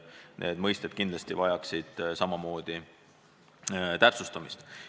Need mõisted kindlasti vajaksid täpsustamist.